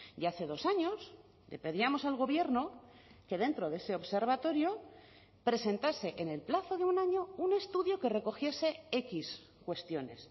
ya hace dos años le pedíamos al gobierno que dentro de ese observatorio presentase en el plazo de un año un estudio que recogiese equis cuestiones